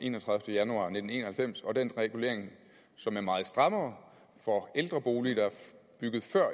enogtredivete januar nitten en og halvfems og den regulering som er meget strammere for ældre boliger der er bygget før